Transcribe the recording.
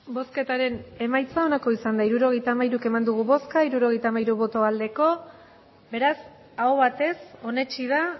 hirurogeita hamairu eman dugu bozka hirurogeita hamairu bai beraz aho batez onesti da